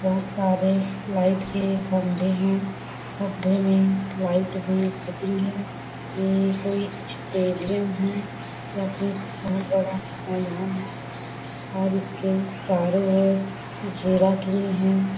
बहुत सारे लाइट के खंभे हैं खंभे में लाइट भी फिटिंग है ये कोई स्टेडियम है या फिर बहुत बड़ा मैदान है और इसके चारों ओर घेरा किए हैं।